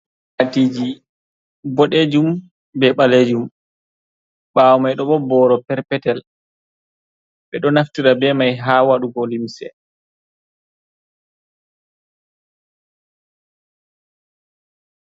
Akwaatiji boɗejum, be ɓaleejum ɓaawo mai ɗon boro perpetel ɓe ɗo naftira be mai haa wadugo limse.